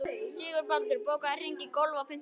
Sigurbaldur, bókaðu hring í golf á fimmtudaginn.